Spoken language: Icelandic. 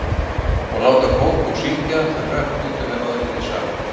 Og láta Kókó syngja þau hrökk út úr mér áður en ég vissi af.